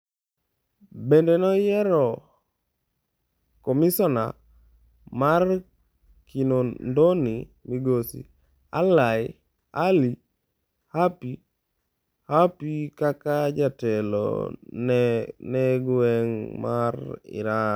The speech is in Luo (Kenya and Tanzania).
Bende noyiero komisina mar Kinondoni Migosi. Ally Hapi kaka jatelo ne gweng' mar Iringa.